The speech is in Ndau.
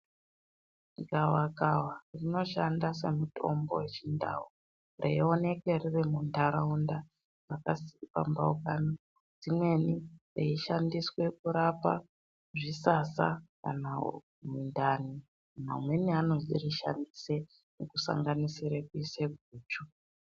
Gawakawa rinoshanda semutombo weChiNdau, reioneke riri muntaraunda makapambaukana dzimweni, reishandiswe kurapa zvisasa kana mundani. Amweni anosirishandise kusanganisire kuise guchu.